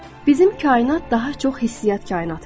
Bizim kainat daha çox hissi-yat kainatıdır.